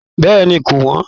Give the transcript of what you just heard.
Bẹ́ẹ̀ni ko wọn.